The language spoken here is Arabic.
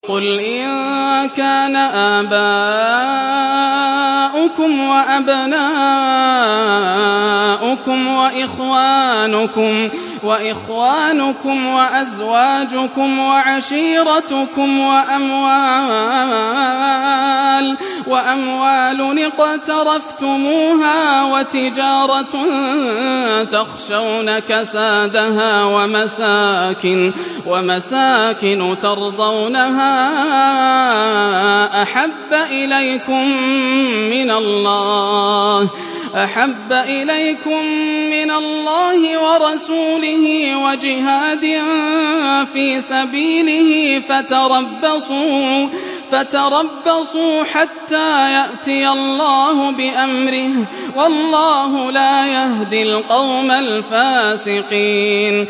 قُلْ إِن كَانَ آبَاؤُكُمْ وَأَبْنَاؤُكُمْ وَإِخْوَانُكُمْ وَأَزْوَاجُكُمْ وَعَشِيرَتُكُمْ وَأَمْوَالٌ اقْتَرَفْتُمُوهَا وَتِجَارَةٌ تَخْشَوْنَ كَسَادَهَا وَمَسَاكِنُ تَرْضَوْنَهَا أَحَبَّ إِلَيْكُم مِّنَ اللَّهِ وَرَسُولِهِ وَجِهَادٍ فِي سَبِيلِهِ فَتَرَبَّصُوا حَتَّىٰ يَأْتِيَ اللَّهُ بِأَمْرِهِ ۗ وَاللَّهُ لَا يَهْدِي الْقَوْمَ الْفَاسِقِينَ